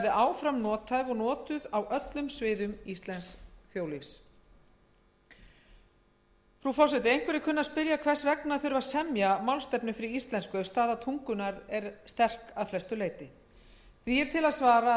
áfram nothæf og notuð á öllum sviðum íslensks þjóðlífs einhverjir kunna að spyrja hvers vegna þurfti að semja málstefnu fyrir íslensku ef staða tungunnar er sterk að flestu leyti því er til að svara að